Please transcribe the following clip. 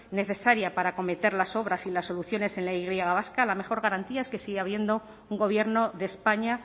necesaria para acometer las obras y las soluciones en la y vasca la mejor garantía es que sigue habiendo un gobierno de españa